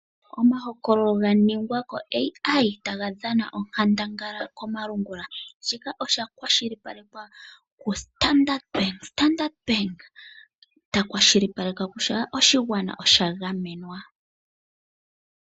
Omahokololo ga ningwa koAI ,taga dhana onkandangala komalungula. Shika osha kwa shilipalekwa kuStandard bank. Standard bank ta kwa shilipaleke kutya oshigwana osha gamenwa .